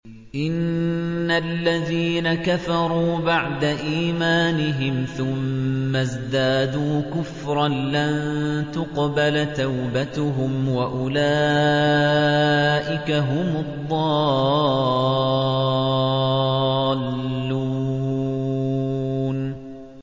إِنَّ الَّذِينَ كَفَرُوا بَعْدَ إِيمَانِهِمْ ثُمَّ ازْدَادُوا كُفْرًا لَّن تُقْبَلَ تَوْبَتُهُمْ وَأُولَٰئِكَ هُمُ الضَّالُّونَ